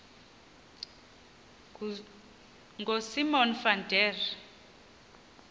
ngosimon van der